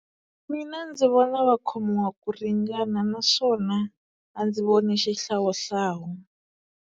Mina ndzi vona va khomiwa ku ringana naswona a ndzi voni xihlawuhlawu.